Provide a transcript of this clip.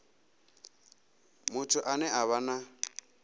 muthu ane a vha na